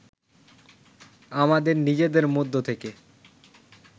আমাদের নিজেদের মধ্য থেকে